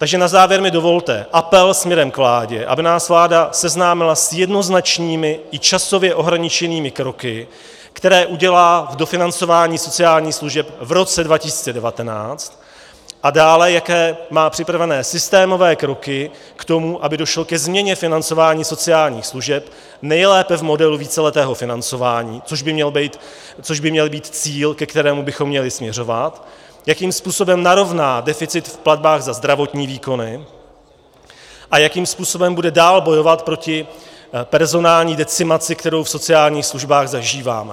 Takže na závěr mi dovolte apel směrem k vládě, aby nás vláda seznámila s jednoznačnými i časově ohraničenými kroky, které udělá k dofinancování sociálních služeb v roce 2019, a dále, jaké má připravené systémové kroky k tomu, aby došlo ke změně financování sociálních služeb, nejlépe v modelu víceletého financování, což by měl být cíl, ke kterému bychom měli směřovat, jakým způsobem narovná deficit v platbách za zdravotní výkony a jakým způsobem bude dál bojovat proti personální decimaci, kterou v sociálních službách zažíváme.